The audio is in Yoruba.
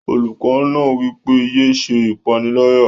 Olùkọ́ náà wí pé, "yé se ìpánìyálà